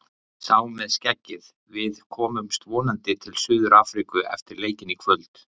Sá með skeggið: Við komumst vonandi til Suður Afríku eftir leikinn í kvöld.